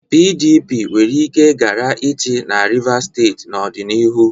PDP nwere ike ghara ịchị na Rivas steeti n'ọdịnihu.